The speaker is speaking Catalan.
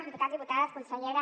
diputats diputades consellera